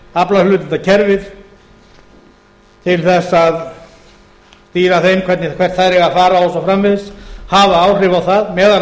aflahlutdeildarkerfið til þess að stýra þeim hvert þær eiga að fara og svo framvegis hafa áhrif á það meðal